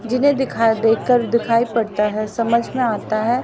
जिन्हें दिखाई देकर दिखाई पड़ता है समझ में आता है।